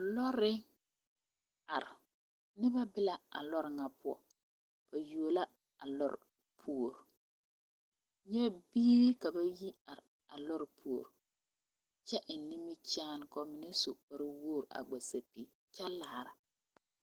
Loori are noba be la a loori ŋa poɔ ba yuo la a loori puori nyɛ biiri ka ba yi are a loori puori kyɛ eŋ nimikyaani ka ba mine su kpare wogri a vɔgle sapili kyɛ laara.